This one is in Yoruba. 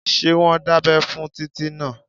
Ṣé wọ́n dábẹ́ fún Títí náà?